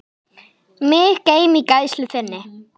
Mig geym í gæslu þinni.